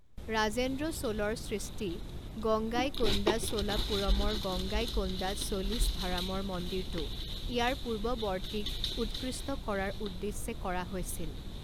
ৰাজেন্দ্ৰ চোলৰ সৃষ্টি গঙ্গাইকোণ্ডাচোলাপুৰমৰ গংগাইকোণ্ডাচোলিছভাৰামৰ মন্দিৰটো ইয়াৰ পূৰ্বৱৰ্তীক উৎকৃষ্ট কৰাৰ উদ্দেশ্যে কৰা হৈছিল।